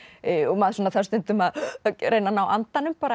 maður þarf stundum að reyna að ná andanum